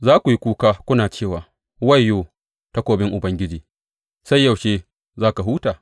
Za ku yi kuka kuna cewa, Wayyo, takobin Ubangiji sai yaushe za ka huta?